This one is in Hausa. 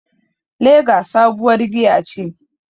Lager sabuwar giya ce.